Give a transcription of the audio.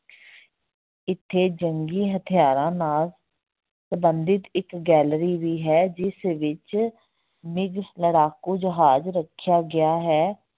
ਇੱਥੇ ਜੰਗੀ ਹਥਿਆਰਾਂ ਨਾਲ ਸੰਬੰਧਿਤ ਇੱਕ gallery ਵੀ ਹੈ, ਜਿਸ ਵਿੱਚ ਲੜਾਕੂ ਜਹਾਜ ਰੱਖਿਆ ਗਿਆ ਹੈ।